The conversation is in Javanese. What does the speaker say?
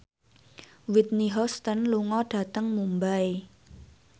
Whitney Houston lunga dhateng Mumbai